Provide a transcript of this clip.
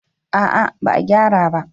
A'a ba a gyara ba